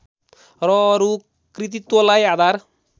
र अरू कृतित्वलाई आधार